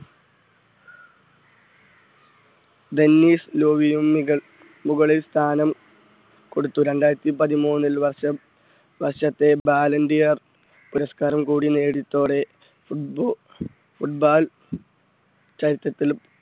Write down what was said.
tennis ലോബിയും മുകൾ മുകളിൽസ്ഥാനം കൊടുത്തു രണ്ടായിരത്തി പതിമൂന്നിൽ വർഷം വർഷത്തെ ബാലൻണ്ടിയർ പുരസ്കാരം കൂടി നേടിയതോടെ footb~ football ചരിത്രത്തിൽ